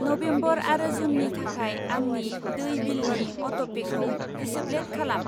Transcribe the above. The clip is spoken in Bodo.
नभेम्बर आरो जुननि थाखाय आंनि दै बिलनि अट'पेखौ दिसेब्लेद खालाम।